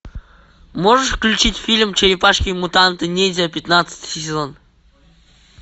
можешь включить фильм черепашки мутанты ниндзя пятнадцатый сезон